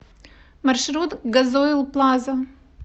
маршрут газойл плаза